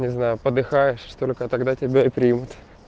не знаю подыхаешь только тогда тебя и примут